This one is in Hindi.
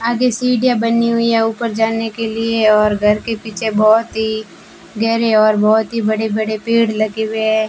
आगे सीढ़ियां बनी हुई हैं ऊपर जाने के लिए और घर के पीछे बहुत ही गहरे और बहुत ही बड़े बड़े पेड़ लगे हुए है।